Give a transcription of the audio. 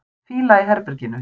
Fýla í herberginu.